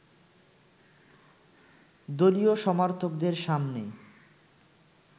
দলীয় সমর্থকদের সামনে